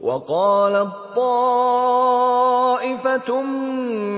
وَقَالَت طَّائِفَةٌ